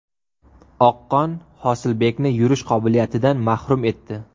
Oqqon Hosilbekni yurish qobiliyatidan mahrum etdi.